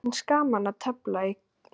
Mér finnst gaman að tefla í Keflavík.